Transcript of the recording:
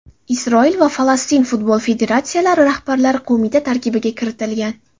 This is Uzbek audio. Isroil va Falastin futbol federatsiyalari rahbarlari qo‘mita tarkibiga kiritilgan.